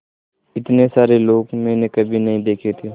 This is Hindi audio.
इतने सारे लोग मैंने कभी नहीं देखे थे